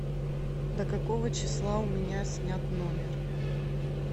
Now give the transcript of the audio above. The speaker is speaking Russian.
до какого числа у меня снят номер